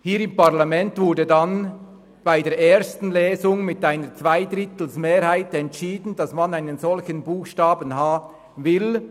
Hier im Parlament wurde dann während der ersten Lesung mit einer Zweidrittelmehrheit entschieden, dass man einen solchen Buchstaben h will.